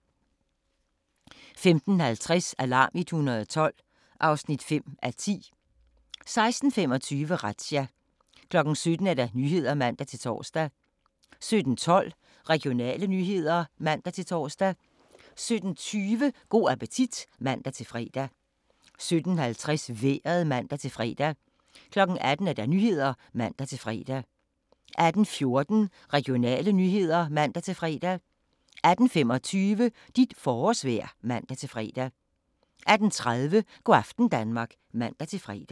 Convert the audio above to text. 15:50: Alarm 112 (5:10) 16:25: Razzia 17:00: Nyhederne (man-tor) 17:12: Regionale nyheder (man-tor) 17:20: Go' appetit (man-fre) 17:50: Vejret (man-fre) 18:00: Nyhederne (man-fre) 18:14: Regionale nyheder (man-fre) 18:25: Dit forårsvejr (man-fre) 18:30: Go' aften Danmark (man-fre)